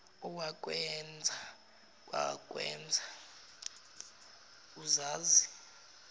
owakwenza wakwenza uzazi